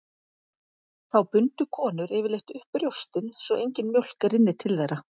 Þá bundu konur yfirleitt upp brjóstin svo engin mjólk rynni til þeirra.